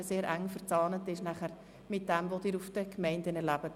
Diese ist sehr eng verzahnt mit dem, was Sie bei den Gemeinden erleben.